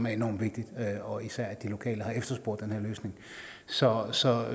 er enormt vigtigt og især det at de lokale har efterspurgt den her løsning så så